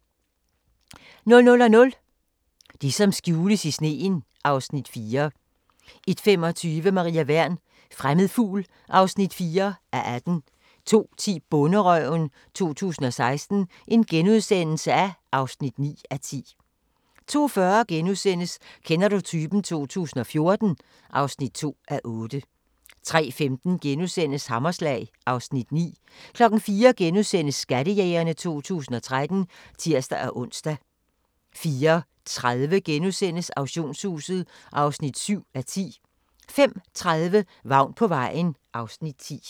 00:00: Det som skjules i sneen (Afs. 4) 01:25: Maria Wern: Fremmed fugl (4:18) 02:10: Bonderøven 2016 (9:10)* 02:40: Kender du typen? 2014 (2:8)* 03:15: Hammerslag (Afs. 9)* 04:00: Skattejægerne 2013 *(tir-ons) 04:30: Auktionshuset (7:10)* 05:30: Vagn på vejen (Afs. 10)